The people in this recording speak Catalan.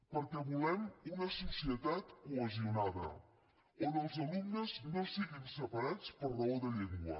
perquè volem una societat cohesionada on els alumnes no siguin separats per raó de llengua